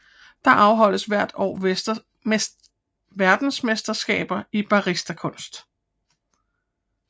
Der afholdes hvert år verdensmesterskab i baristakunst